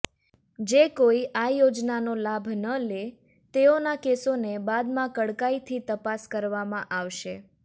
જે કોઈ આ યોજનાનો લાભ ન લે તેઓના કેસોને બાદમાં કડકાઈથી તપાસ કરવામાં આવશે